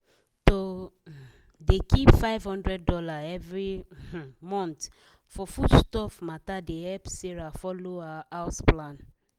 to um dey keep 500 dollar every um month for foodstuff matter dey help sarah follow her house plan.